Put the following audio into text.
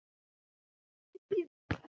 Því mun ég ekki gleyma.